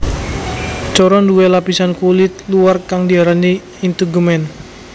Coro nduwé lapisan kulit luar kang diarani integumen